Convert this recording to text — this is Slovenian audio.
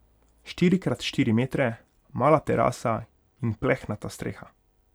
Štiri krat štiri metre, mala terasa in plehnata streha.